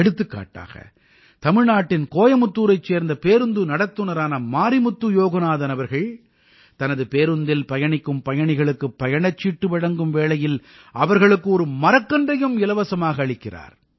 எடுத்துக்காட்டாக தமிழ்நாட்டின் கோயமுத்தூரைச் சேர்ந்த பேருந்து நடத்துநரான மாரிமுத்து யோகநாதன் அவர்கள் தனது பேருந்தில் பயணிக்கும் பயணிகளுக்குப் பயணச்சீட்டு வழங்கும் வேளையில் அவர்களுக்கு ஒரு மரக்கன்றையும் இலவசமாக அளிக்கிறார்